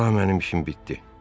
Daha mənim işim bitdi.